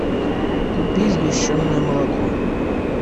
купи сгущенное молоко